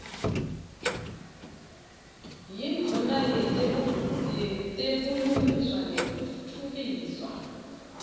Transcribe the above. yindvuna yetebulungiswa nekutfutfukiswa